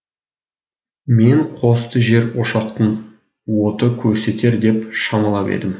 мен қосты жер ошақтың оты көрсетер деп шамалап едім